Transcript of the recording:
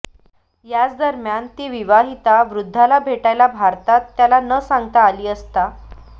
याच दरम्यान ती विवाहिता वृद्धाला भेटायला भारतात त्याला न सांगता आली असता